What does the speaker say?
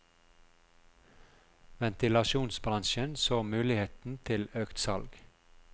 Ventilasjonsbransjen så muligheten til økt salg.